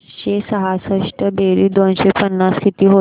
पाचशे सहासष्ट बेरीज दोनशे पन्नास किती होईल